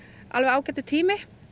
ágætur tími